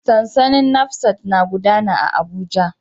Sansanin NASFAT na gudana a Abuja.